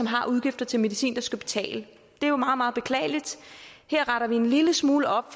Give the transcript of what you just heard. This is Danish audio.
har udgifter til medicin bare skal betale det er jo meget meget beklageligt her retter vi en lille smule op